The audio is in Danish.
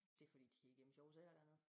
Det fordi de kan gemme sjove sager dernede